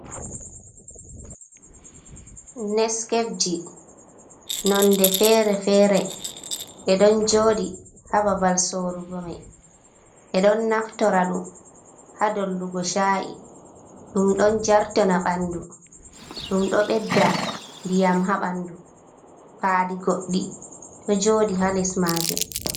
Neskefji nonde fere-fere, ɓeɗon joɗi hababal sorugo mai, ɓeɗon naftora ɗum ha dollugo sha’i, ɗum ɗon jartona ɓandu, ɗum ɗo ɓedda ndiyam ha ɓandu, pali goɗɗi ɗo joɗi ha lesmajum.